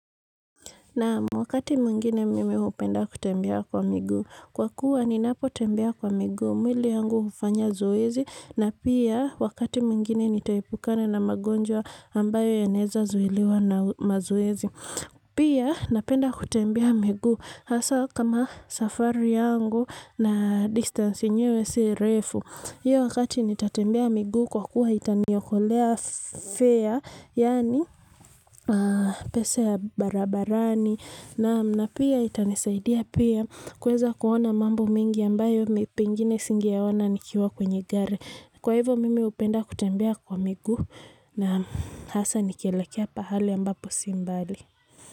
Naam wakati mwingine mimi hupenda kutembea kwa miguu kwa kuwa, ninapotembea kwa miguu mwili yangu hufanya zoezi. Na pia, wakati mwingine nitaepukana na magonjwa ambayo yanaweza kuzuiliwa na mazoezi. Pia, napenda kutembea migu. Hasa kama safari yangu na distance yenyewe si refu. Hiyo wakati nitembea miguu kwa kuwa itaniokolea nauli yaani pesa ya barabarani naam na pia itanisaidia pia kuweza kuona mambo mingi ambayo pengine singeyaona nikiwa kwenye gari kwa hivo mimi hupenda kutembea kwa migu na hasa nikielekea pahali ambapo si mbali.